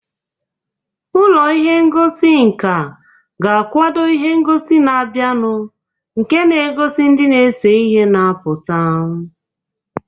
Ụlọ ihe ngosi nka ga-akwado ihe ngosi na-abịanụ nke na-egosi ndị na-ese ihe na-apụta.